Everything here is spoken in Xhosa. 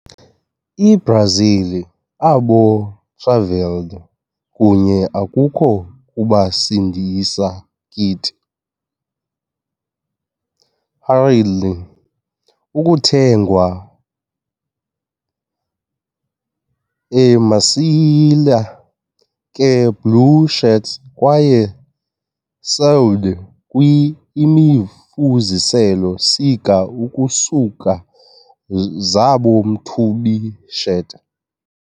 I-Brazil, abo travelled kunye akukho kubasindisa kit, hurriedly ukuthengwa a misela ka-blue shirts kwaye sewed kwi imifuziselo sika ukusuka zabo mthubi shirts.